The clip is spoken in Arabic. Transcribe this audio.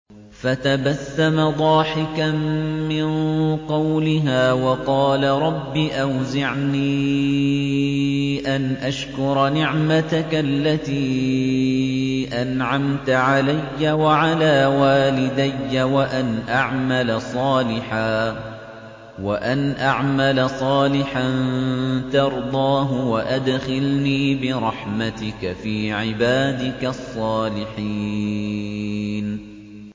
فَتَبَسَّمَ ضَاحِكًا مِّن قَوْلِهَا وَقَالَ رَبِّ أَوْزِعْنِي أَنْ أَشْكُرَ نِعْمَتَكَ الَّتِي أَنْعَمْتَ عَلَيَّ وَعَلَىٰ وَالِدَيَّ وَأَنْ أَعْمَلَ صَالِحًا تَرْضَاهُ وَأَدْخِلْنِي بِرَحْمَتِكَ فِي عِبَادِكَ الصَّالِحِينَ